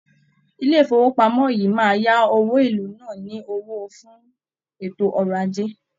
ilé ifowopamọ yìí máa ya òwò ilú náà ní owó fún ètò ọ̀rọ̀ ajé.